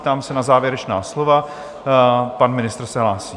Ptám se na závěrečná slova - pan ministr se hlásí.